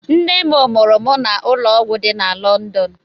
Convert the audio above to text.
Nne m mụrụ m na ụlọọgwụ dị na London.